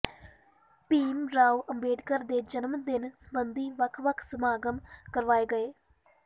ਭੀਮ ਰਾਓ ਅੰਬੇਦਕਰ ਦੇ ਜਨਮ ਦਿਨ ਸਬੰਧੀ ਵੱਖ ਵੱਖ ਸਮਾਗਮ ਕਰਵਾਏ ਗਏ